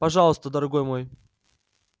пожалуйста дорогой мой